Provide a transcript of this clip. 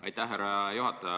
Aitäh, härra juhataja!